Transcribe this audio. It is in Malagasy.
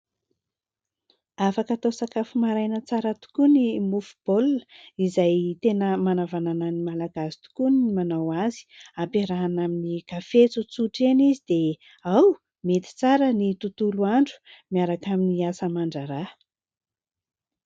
Afaka atao sakafo maraina tsara tokoa ny mofo baoilna izay tena manavanana ny Malagasy tokoa ny manao azy, ampiarahina amin'ny kafe tsotsora eny izy dia ao, mety tsara ny tontolo andro miaraka amin'ny asa aman-draharaha.